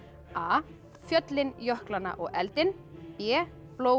a fjöllin jöklana og eldinn b blóð